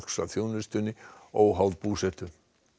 að þjónustunni óháð búsetu